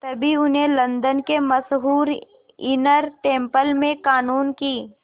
तभी उन्हें लंदन के मशहूर इनर टेम्पल में क़ानून की